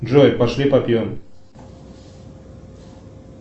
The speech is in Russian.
джой пошли попьем